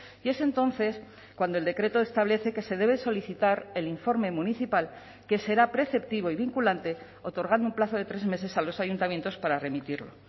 y es entonces cuando el decreto establece que se debe solicitar el informe municipal que será preceptivo y vinculante otorgando un plazo de tres meses a los ayuntamientos para remitirlo